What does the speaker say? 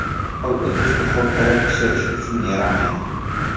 Sopol idish duxovkada pishirish uchun yaramaydi.